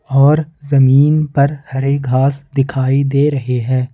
और जमीन पर हरे घास दिखाई दे रहे हैं।